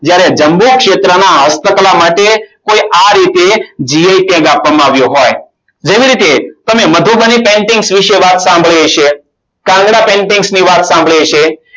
જ્યારે જમ્મુ ક્ષેત્રમાં હસ્તકલા માટે કોઈ આ રીતે gi tag આપવામાં આવ્યો હોય. જેવી રીતે તમે મધુબલી painting વિશે વાત સાંભળી હશે કાગડા painting ની વાત સાંભળી હશે.